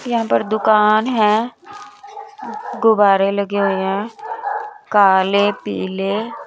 यहां पर दुकान है गुब्बारे लगे हुए हैं काले पीले।